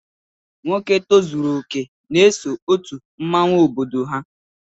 Nwoke tozuru okè n'eso òtù mmọnwu obodo ha.